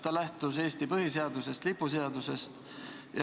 Ta lähtus Eesti põhiseadusest ja lipuseadusest.